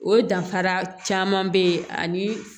O danfara caman be ani